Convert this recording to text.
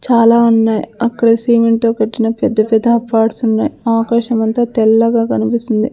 చాలా ఉన్నాయ్ అక్కడ సిమెంట్ తో కట్టిన పెద్ద పెద్ద అపాడ్స్ ఉన్నాయ్ ఆకాశం అంతా తెల్లగా కనిపిస్తుంది.